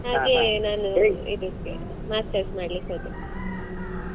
ನಾನು ಇದಿಕ್ಕೆ masters ಮಾಡ್ಲಿಕ್ಕೆ ಹೋದೆ.